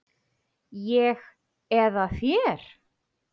Ég eða þér?